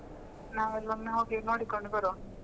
ನಾವೆಲ್ಲಾ ಒಮ್ಮೆ ಹೋಗಿ ನೋಡಿಕೊಂಡು ಬರುವ.